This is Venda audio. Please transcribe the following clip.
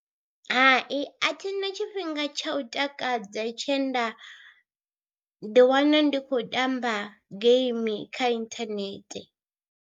Hai a thina tshifhinga tsha u takadza tshe nda ḓiwana ndi khou tamba geimi kha inthanethe.